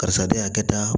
Karisa de y'a kɛ da